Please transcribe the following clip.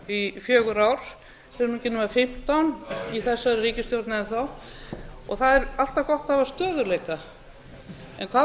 í fjögur ár þeir eru nú ekki nema fimmtán í þessari ríkisstjórn enn þá það er alltaf gott að hafa stöðugleika hvað